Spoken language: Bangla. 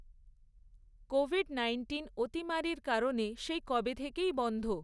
কোভিড নাইন্টিন অতিমারীর কারণে সেই কবে থেকেই বন্ধ।